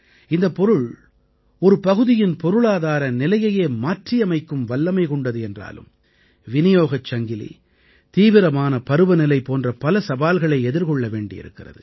இந்தப் பொருள் ஒரு பகுதியின் பொருளாதார நிலையையே மாற்றியமைக்கும் வல்லமை கொண்டது என்றாலும் விநியோகச் சங்கிலி தீவிரமான பருவநிலை போன்ற பல சவால்களை எதிர்கொள்ள வேண்டி இருக்கிறது